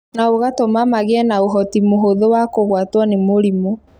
na ũgatũma magĩe na ũhoti mũhũthũ wa kũgwatwo nĩ mĩrimũ.